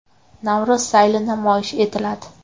Navro‘z sayli namoyish etiladi.